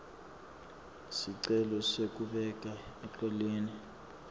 sicelo sekubeka eceleni